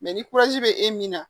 Mɛ ni bɛ e min na